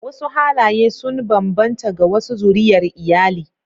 Wasu halaye sun bambanta ga wasu zuriyar iyali